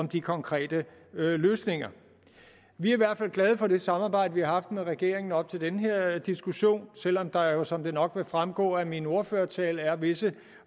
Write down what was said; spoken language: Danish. de konkrete løsninger vi er i hvert fald glade for det samarbejde vi har haft med regeringen op til den her diskussion selv om der jo som det nok vil fremgå af min ordførertale er visse